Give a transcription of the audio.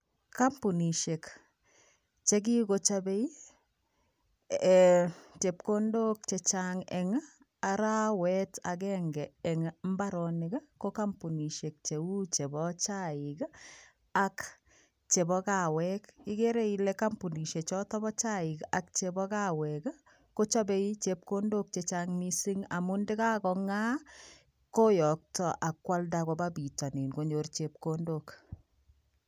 Kampunisiek chekigochopei ee chepkondok che chang eng arawet agenge eng mbaronik ko kampunisiek cheu chebo chaik ak chebo kawek. Igere ile kampunisiek choto bo chaik ak chebo kawek ii kochopei chepkondok che chang mising amun takagonga, koyokto ak kwalda kopa pitonin konyor chepkondok.